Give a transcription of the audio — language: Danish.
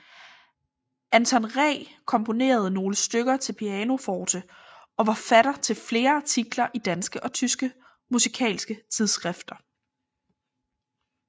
Anton Ree komponerede nogle stykker til pianoforte og var forfatter til flere artikler i danske og tyske musikalske tidsskrifter